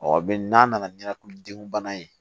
n'a nana ɲinɛ den bana ye